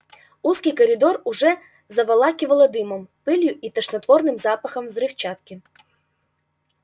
узкий коридор уже заволакивало дымом пылью и тошнотворным запахом взрывчатки